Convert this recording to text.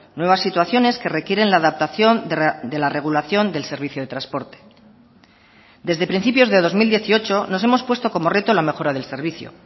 nuevas situaciones que requieren la adaptación de la regulación del servicio de transporte desde principios de dos mil dieciocho nos hemos puesto como reto la mejora del servicio